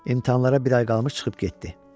İmtahanlara bir ay qalmış çıxıb getdi.